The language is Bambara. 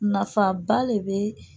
Nafaba de bee